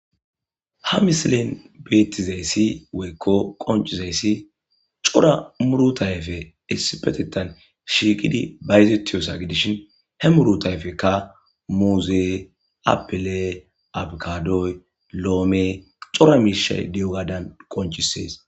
Ha misilen beettizayssi woykko qoncizayssi cora murutayfe esipetetan shiiqidi bayzetiyosa gidishin he murutayfekka muuzee, apile, abgadoy, loome cora miishay diyugadan qonchisees.